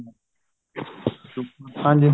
ਹਾਂਜੀ ਬਿਲਕੁਲ